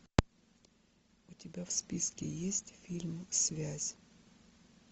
у тебя в списке есть фильм связь